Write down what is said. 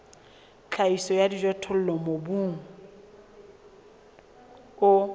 tlhahiso ya dijothollo mobung o